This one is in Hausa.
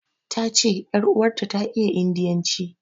Ta ce ƴar uwarta ta iya indiyanci.